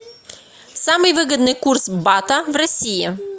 самый выгодный курс бата в россии